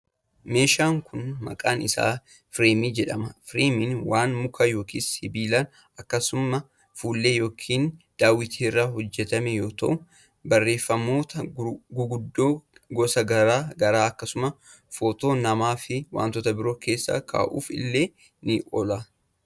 Meeshaan kun maqaan isaa fireemii jedhama. Fireemiin waan muka yookin sibiila akkasumas fuullee yookin daawwitii irraa hojjatame yoo ta'u, barreeffamoota guguddoo gosa garaa garaa akkasumas footoo namaa fi wantoota biroo keessa kaa'uuf illee ni oola.